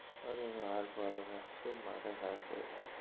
অরে আর বলেন না শুধু মাথা খারাপ করে দেয়.